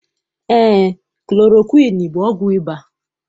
Eé, klorokwiini bụ ọgwụ ịba.